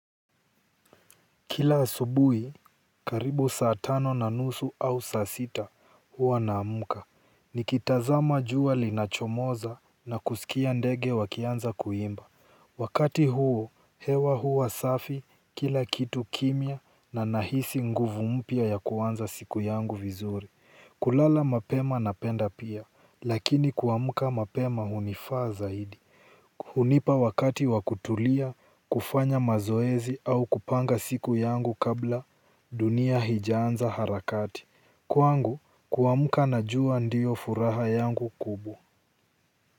Kila asubuhi, karibu saa tano na nusu au saa sita huwa naamuka, nikitazama jua linachomoza na kusikia ndege wakianza kuimba. Wakati huo, hewa huwa safi, kila kitu kimya na nahisi nguvu mpya ya kuanza siku yangu vizuri. Kulala mapema napenda pia, lakini kuamuka mapema hunifaa zaidi hunipa wakati wa kutulia kufanya mazoezi au kupanga siku yangu kabla dunia haijaanza harakati kwangu kuamka najua ndiyo furaha yangu kubwa.